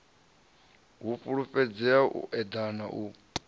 u fhulufhedzea u eḓana u